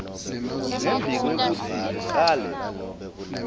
ngembi kwekutsi ucale